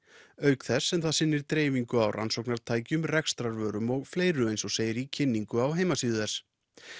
auk þess sem það sinnir dreifingu á rannsóknartækjum rekstrarvörum og fleiru eins og segir í kynningu á heimasíðu þess